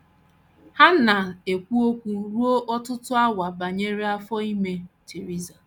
Ha na - ekwu okwu ruo ọtụtụ awa banyere afọ banyere afọ ime Theresa.